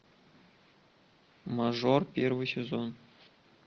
мажор первый сезон